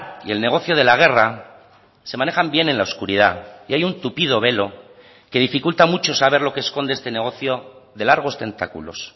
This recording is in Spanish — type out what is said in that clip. y el negocio de la guerra se manejan bien en la oscuridad y hay un tupido velo que dificulta mucho saber lo que esconde este negocio de largos tentáculos